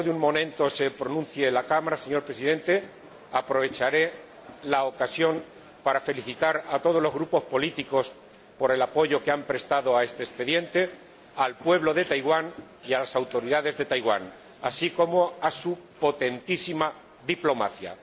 dentro de un momento, se pronuncie la Cámara, señor Presidente, aprovecharé la ocasión para felicitar a todos los grupos políticos por el apoyo que han prestado a este expediente, al pueblo de Taiwán y a las autoridades de Taiwán, así como a su potentísima diplomacia.